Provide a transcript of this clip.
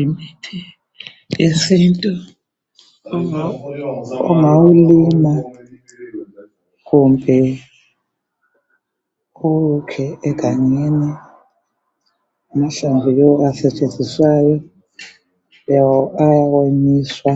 Umuthi wesintu ungawulima kumbe uwukhe egangeni amahlamvu yiwo asetshenziswayo ayawonyiswa